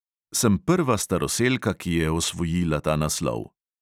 Sem prva staroselka, ki je osvojila ta naslov.